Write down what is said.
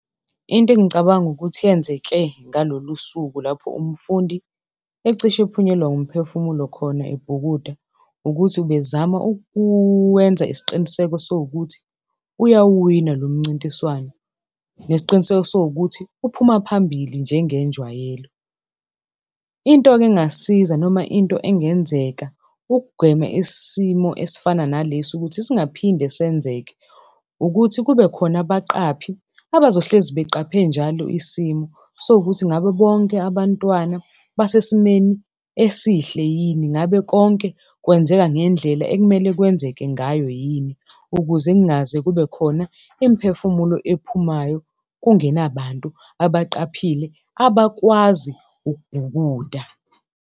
Into engicabanga ukuthi yenzeke ngalolu suku, lapho umfundi ecishe ephunyelwa umphefumulo khona ebhukuda, ukuthi ubezama ukuwenza isiqiniseko esiwukuthi uyawuwina lo mncintiswano. Nesiqiniseko esiwukuthi uphuma phambili njengenjwayelo. Into-ke engasiza noma into engenzeka ukugwema isimo esifana nalesi ukuthi singaphinde senzeke, ukuthi kube khona abaqaphi abazohlezi beqaphe njalo isimo sokuthi ngabe bonke abantwana basesimeni esihle yini, ngabe konke kwenzeka ngendlela ekumele kwenzeke ngayo yini, ukuze kungaze kube khona imiphefumulo ephumayo kungenabantu abaqaphile abakwazi ukubhukuda.